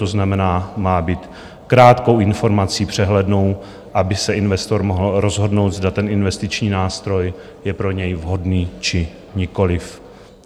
To znamená, má být krátkou informací, přehlednou, aby se investor mohl rozhodnout, zda ten investiční nástroj je pro něj vhodný, či nikoliv.